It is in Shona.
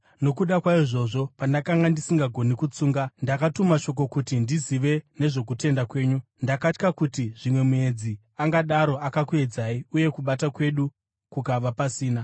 Nokuda kwaizvozvo, pandakanga ndisisagoni kutsunga, ndakatuma shoko kuti ndizive nezvokutenda kwenyu. Ndakatya kuti zvimwe muedzi angadaro akakuedzai uye kubata kwedu kukava pasina.